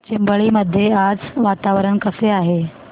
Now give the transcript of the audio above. चिंबळी मध्ये आज वातावरण कसे आहे